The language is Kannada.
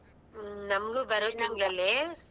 ಹ್ಮ್ ನಮಗೂ ಬಾರೋ ತಿಂಗ್ಳ್ ಅಲ್ಲಿ.